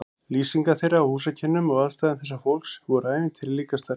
Lýsingar þeirra á húsakynnum og aðstæðum þessa fólks voru ævintýri líkastar.